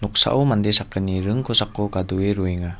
noksao mande sakgni ring kosako gadoe roenga.